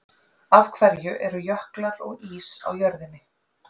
Af hverju eru jöklar og ís á jörðinni?